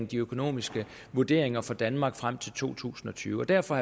de økonomiske vurderinger for danmark frem til to tusind og tyve derfor